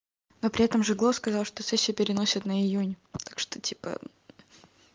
но при этом жиглов сказал что сессию переносят на июнь так что типа